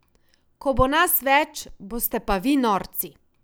Ko bo nas več, boste pa vi norci.